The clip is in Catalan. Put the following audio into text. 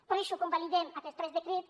per això convalidem aquests tres decrets